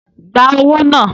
Gba owó náà!